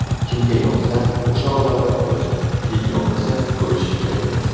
Kimga yoqsa, o‘sha odamlar ko‘rsin, klip yoqmasa ko‘rish kerakmas.